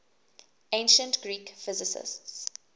ancient greek physicists